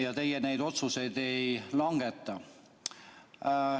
Ja teie neid otsuseid ei langeta.